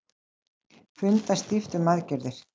Funda stíft um aðgerðir